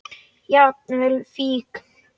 Jafnvel fíkn.